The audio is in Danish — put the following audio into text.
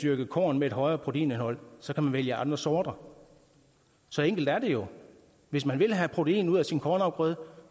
dyrke korn med et højere proteinindhold så kan man vælge andre sorter så enkelt er det jo hvis man vil have protein ud af sin kornafgrøde